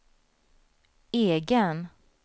egen